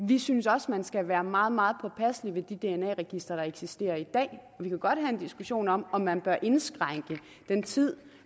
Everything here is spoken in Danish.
vi synes også man skal være meget meget påpasselig med de dna registre der eksisterer i dag vi kan godt have en diskussion om om man bør indskrænke den tid